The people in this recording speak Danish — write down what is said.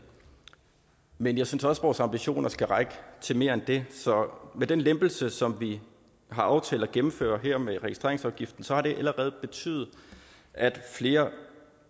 men jeg synes også at vores ambitioner skal række til mere end det så med den lempelse som vi har aftalt at gennemføre her med registreringsafgiften så har det allerede betydet at flere